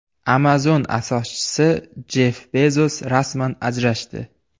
Amazon asoschisi Jeff Bezos rasman ajrashdi.